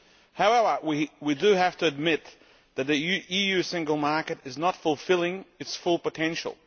However, we do have to admit that the EU Single Market is not fulfilling its full potential.